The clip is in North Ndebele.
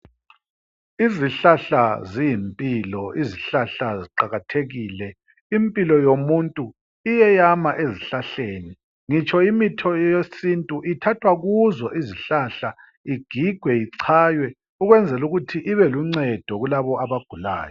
Izihlahla ziyimpilo, izihlahla ziqakathekile. Impilo yomuntu iyeyama ezihlahleni. Ngitsho imitho yesintu ithathwa kuzo izihlahla igigwe ichaywe ukwenzela ukuthi ibeluncedo kulabo abagulayo.